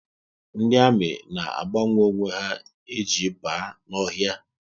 Ndị ami na agbanwe onwe ha e ji ba n'ọhịa